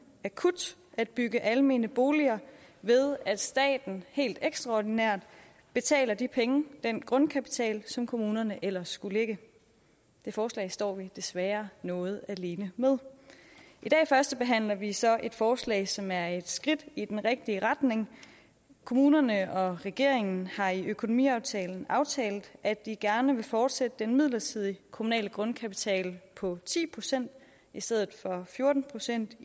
akut at bygge almene boliger ved at staten helt ekstraordinært betaler de penge den grundkapital som kommunerne ellers skulle lægge det forslag står vi desværre noget alene med i dag førstebehandler vi så et forslag som er et skridt i den rigtige retning kommunerne og regeringen har i økonomiaftalen aftalt at de gerne vil fortsætte den midlertidige kommunale grundkapital på ti procent i stedet for fjorten procent